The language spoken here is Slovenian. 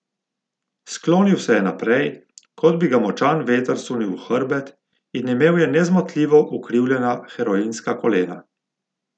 Sklonil se je naprej, kot bi ga močan veter sunil v hrbet, in imel je nezmotljivo ukrivljena heroinska kolena.